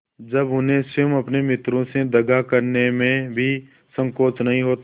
जब उन्हें स्वयं अपने मित्रों से दगा करने में भी संकोच नहीं होता